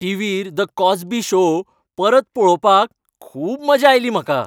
टिव्हीर "the Cosby show" परत पळोवपाक खूब मजा आयली म्हाका.